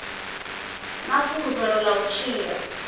na fulufhelo ḽa u tshila